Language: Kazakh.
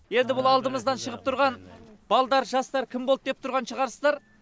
енді бұл алдымыздан шығып тұрған балдар жастар кім болды деп тұрған шығарсыздар